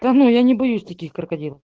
да ну я не боюсь таких крокодил